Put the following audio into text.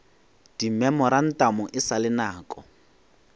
dimemorantamo e sa le nako